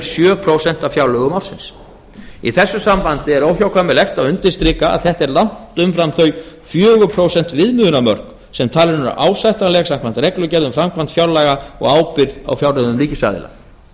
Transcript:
sjö prósent af fjárlögum ársins í þessu sambandi er óhjákvæmilegt að undirstrika að þetta er langt umfram þau fjögur prósent viðmiðunarmörk sem talin eru ásættanleg samkvæmt reglugerð um framkvæmd fjárlaga og ábyrgð á fjárreiðum ríkisaðila